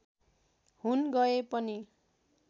हुन गए पनि